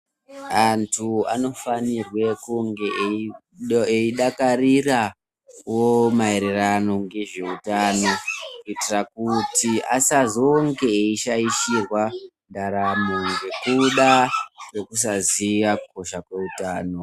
Antu anofanirwa kunge eide adakarirawo maererano nezveutano kuti asazonge eishaishirwa ndaramo nekuda kwekusaziya kukosha kweutano.